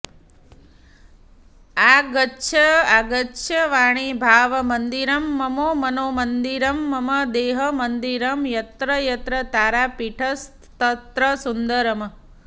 आगच्छ आगच्छ वाणि भावमन्दिरं मम मनो मन्दिरं मम देहमन्दिरं यत्र यत्र तारापीठस्तत्र सुन्दरम्